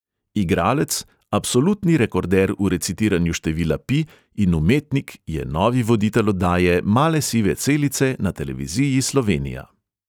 Igralec, absolutni rekorder v recitiranju števila pi in umetnik je novi voditelj oddaje male sive celice na televiziji slovenija.